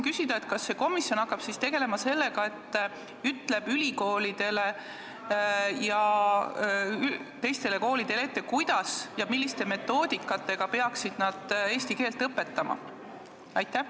Kas see komisjon hakkab tegelema sellega, et ütleb ülikoolidele ja teistele koolidele ette, kuidas ja millise metoodikaga nad peaksid eesti keelt õpetama?